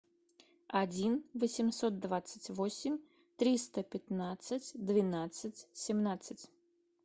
один восемьсот двадцать восемь триста пятнадцать двенадцать семнадцать